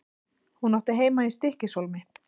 Hún átti heima í Stykkishólmi.